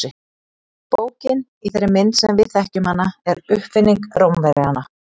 Bókin í þeirri mynd sem við þekkjum hana er uppfinning Rómverjanna.